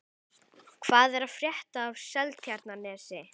Hvað er að frétta af Seltjarnarnesi?